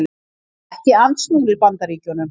Ekki andsnúnir Bandaríkjunum